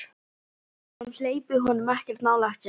Ég held að hún hleypi honum ekkert nálægt sér.